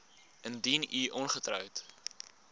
indien u ongetroud